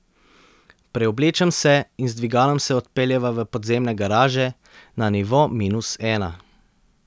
Preoblečem se in z dvigalom se odpeljeva v podzemne garaže, na nivo minus ena.